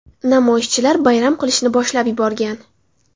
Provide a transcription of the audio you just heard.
Namoyishchilar bayram qilishni boshlab yuborgan.